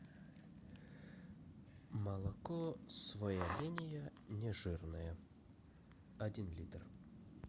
молоко своя линия нежирное один литр